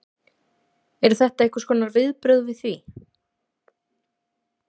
Eru þetta einhvers konar viðbrögð við því?